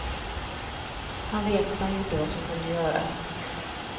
Han vet att han gjorde vad som kunde göras.